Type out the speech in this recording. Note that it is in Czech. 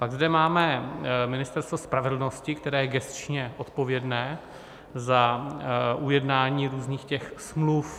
Pak zde máme Ministerstvo spravedlnosti, které je gesčně odpovědné za ujednání různých těch smluv.